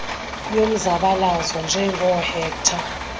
yomzabalazo njengoo hector